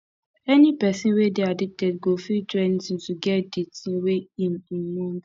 any pesin wey dey addicted go fit do anything to get di thing wey im im want